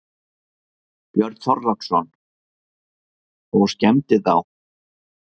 Björn Þorláksson: Og skemmdi þá?